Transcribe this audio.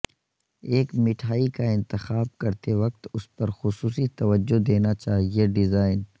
ایک مٹھائی کا انتخاب کرتے وقت اس پر خصوصی توجہ دینا چاہئے ڈیزائن